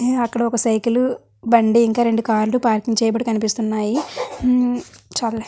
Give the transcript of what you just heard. మ్మ్ అక్కడ ఒక సైకిల్ బండి ఇంకా రెండు కార్ లు పార్కింగ్ చేయబడి కనిపిస్తున్నాయి. మ్మ్ చాలే --